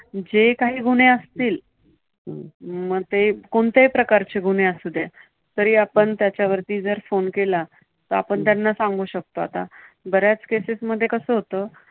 जे काही गुन्हे असतील. मग ते कोणत्याही प्रकारचे गुन्हे असू देत, तरी जर आपण त्याच्यावरती phone केला, तर आपण त्यांना सांगू शकतो. आता बऱ्याच cases मध्ये कसं होतं